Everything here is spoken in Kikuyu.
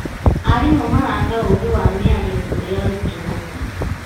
Arimũ maraka ũũgĩ wa mĩario kũrĩ arutwo.